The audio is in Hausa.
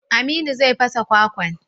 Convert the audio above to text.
Aminu zai fasa kwakwan.